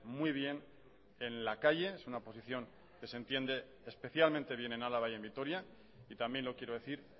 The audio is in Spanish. muy bien en la calle es una posición que se entiende especialmente bien en álava y en vitoria y también lo quiero decir